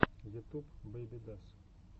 ютуб бэйбидас